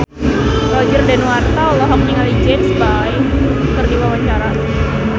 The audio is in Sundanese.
Roger Danuarta olohok ningali James Bay keur diwawancara